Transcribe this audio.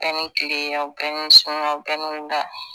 A ni tile, a bɛ ni su, a bɛ ni wula.